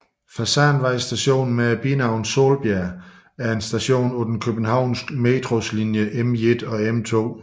Fasanvej Station med binavnet Solbjerg er en station på den københavnske Metros linje M1 og M2